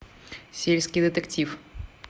сельский детектив